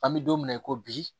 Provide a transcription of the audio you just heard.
An bɛ don mina i ko bi